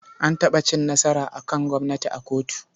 An taɓa cin nasara a kan gwamnati a kotu.